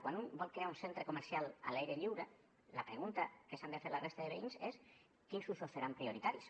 quan vol crear un centre comercial a l’aire lliure la pregunta que s’han de fer la resta de veïns és quins usos seran prioritaris